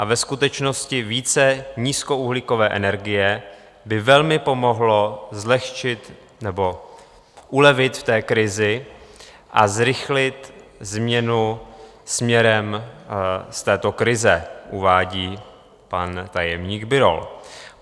A ve skutečnosti více nízkouhlíkové energie by velmi pomohlo zlehčit nebo ulevit v té krizi a zrychlit změnu směrem z této krize, uvádí pan tajemník Birol.